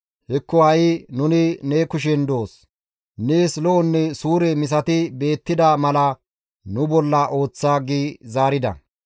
Hekko ha7i nuni ne kushen doos; nees lo7onne suure misati beettida mala nu bolla ooththa» gi zaarida.